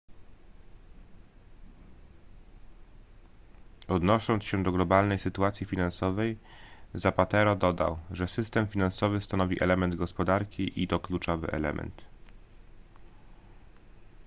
odnosząc się do globalnej sytuacji finansowej zapatero dodał że system finansowy stanowi element gospodarki i to kluczowy element